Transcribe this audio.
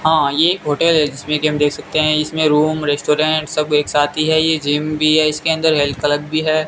हां ये एक होटल है जिसमें कि हम देख सकते हैं इसमें रूम रेस्टोरेंट सब एक साथ ही है ये जिम भी है इसके अंदर हेल्थ क्लब भी है।